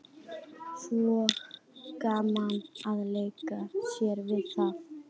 Svo gaman að leika sér við það.